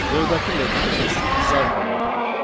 Növbəti metodumuz is alpha metodudur.